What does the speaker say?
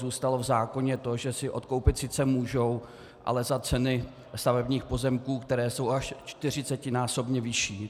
Zůstalo v zákoně to, že si odkoupit sice můžou, ale za ceny stavebních pozemků, které jsou až čtyřicetinásobně vyšší.